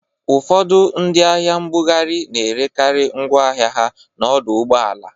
Ụfọdụ ndị ahịa nbughari na-erekarị ngwọ ahịa ha n'ọdọ ụgbọala